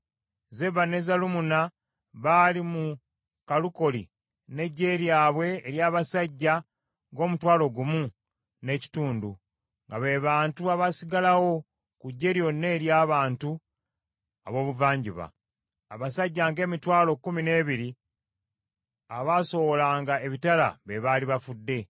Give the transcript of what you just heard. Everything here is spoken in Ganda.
Zeba ne Zalumunna baali mu Kalukoli n’eggye lyabwe ery’abasajja ng’omutwalo gumu n’ekitundu, nga be bantu abaasigalawo ku ggye lyonna ery’abantu ab’obuvanjuba. Abasajja ng’emitwalo kkumi n’ebiri abaasowolanga ebitala be baali bafudde.